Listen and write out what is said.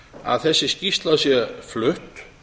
að þessi skýrsla sé flutt